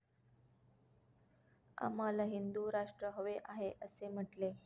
आम्हाला हिंदु राष्ट्र हवे आहे, असे म्हटले.